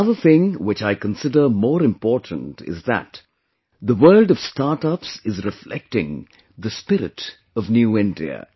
Another thing which I consider more important is that the world of startups is reflecting the spirit of New India